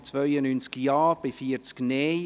Der Grosse Rat beschliesst: